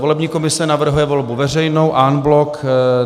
Volební komise navrhuje volbu veřejnou en bloc.